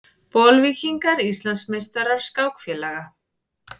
Bolvíkingar Íslandsmeistarar skákfélaga